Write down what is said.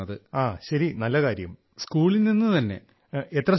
so that we get opportunity to participate outside